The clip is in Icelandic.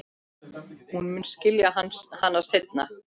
Hún mun skilja hana seinna.